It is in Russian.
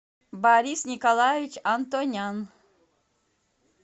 борис николаевич антонян